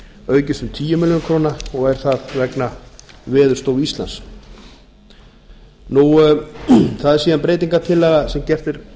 aukist um tíu milljónir króna og er það vegna veðurstofu íslands það er síðan breytingartillaga sem gerð er